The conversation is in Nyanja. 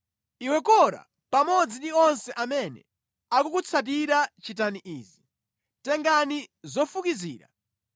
Iwe Kora pamodzi ndi onse amene akukutsatira chitani izi: Tengani zofukizira